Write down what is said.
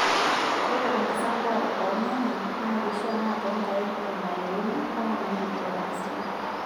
Ore enkisampuare oo rnyanya, naa keisha naa toonkaik emoniruni mpaka neng'uiki orng'osila.